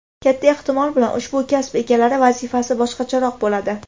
Katta ehtimol bilan, ushbu kasb egalari vazifasi boshqacharoq bo‘ladi.